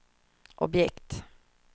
objekt